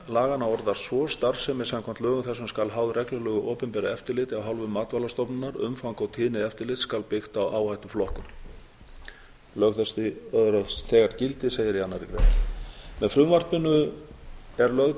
laganna orðast svo starfsemi samkvæmt lögum þessum skal háð reglulegu opinberu eftirliti af hálfu matvælastofnunar umfang og tíðni eftirlits skal byggt á áhættuflokkun önnur grein lög þessi öðlast þegar gildi með frumvarpinu er lögð